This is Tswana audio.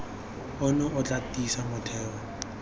ono o tla tiisa motheo